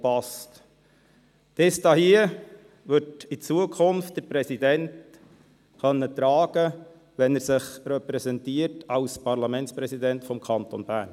Diese hier wird der Präsident in Zukunft tragen können, wenn er als Parlamentspräsident den Kanton Bern repräsentiert.